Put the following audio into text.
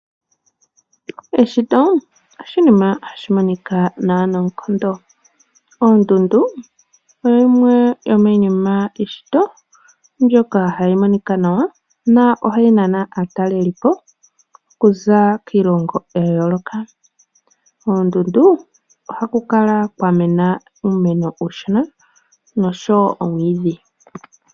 Eshito oshinima hashi monika nawa noonkondo. Oondundu oyimwe yomiinima yomeshito nohayi monika nawa yo ohayi nana aatalelipo okuza kiilongo ya yooloka. Koondundu ohaku kala kwa mena uumeno uushona noshowo omwiidhi.